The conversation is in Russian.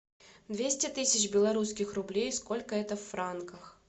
двести тысяч белорусских рублей сколько это в франках